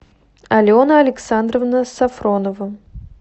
алена александровна сафронова